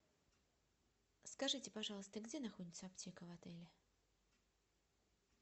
скажите пожалуйста где находится аптека в отеле